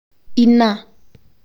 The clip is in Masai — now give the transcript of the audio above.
Ina